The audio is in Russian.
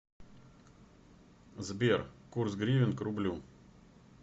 сбер курс гривен к рублю